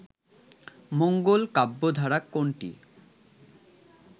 মঙ্গল কাব্য ধারা কোনটি